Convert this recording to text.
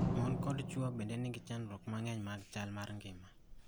mon koda chuo bende nigi chandruoge mang'eny mag chal mar ngima